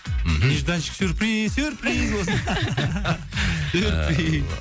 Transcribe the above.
мхм нежданчик сюрприз сюрприз болсын сюрприз